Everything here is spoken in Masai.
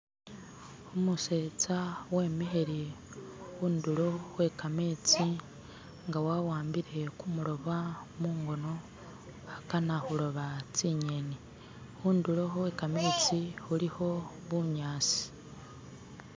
Umutseza wemikhile khundulo khwekametsi nga wawambile kumuloba mungono akana kuloba tsinyeni khudulo khwekametsi khulikho bunyasi